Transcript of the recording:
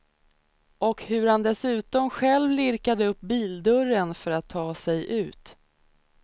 Och hur han dessutom själv lirkade upp bildörren för att ta sig ut.